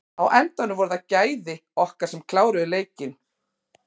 Á endanum voru það gæði okkar sem kláruðu leikinn.